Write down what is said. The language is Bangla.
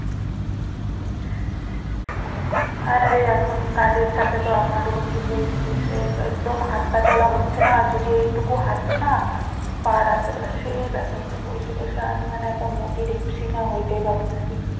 হ্যাঁ রে এখন কাজের চাপে তো আমার কি বলছিস রে একদম হাঁটাচলা হচ্ছে না আর যদি এইটুকু হাঁটি না পা রাত্রে বেলা সেই ব্যাথা করে বসে বসে আমি যেন একদম মোটি ঢেপসি না হয়ে যাই ভাবতেসি